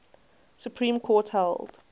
supreme court held